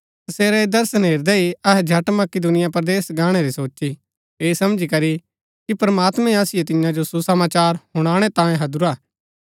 तसेरै ऐह दर्शन हेरदै ही अहै झट मकिदुनिया परदेस गाणै री सोची ऐह समझी करी कि प्रमात्मैं असिओ तियां जो सुसमाचार हुनाणै तांयें हैदुरा हा